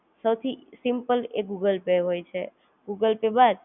use કરવું હોય તો Google Pay યુઝ કરો કેમ કે Google Pay એકદમ ઈઝી મેથડ વાલિ છે અને